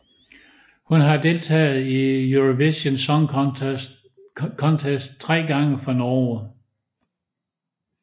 Hun har deltaget i Eurovision Song Contest tre gange for Norge